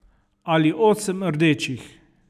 Ali osem rdečih.